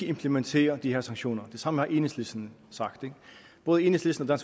implementere de her sanktioner det samme har enhedslisten sagt både enhedslisten og